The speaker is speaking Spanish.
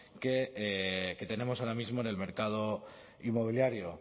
que tenemos ahora mismo en el mercado inmobiliario